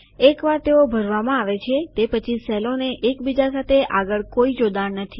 એકવાર તેઓ ભરવામાં આવે છે તે પછી સેલોનો એક બીજા સાથે આગળ કોઈ જોડાણ નથી